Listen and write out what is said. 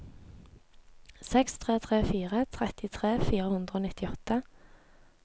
seks tre tre fire trettitre fire hundre og nittiåtte